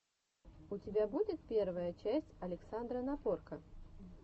у тебя будет первая часть александра напорко